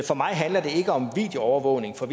for mig handler det ikke om videoovervågning for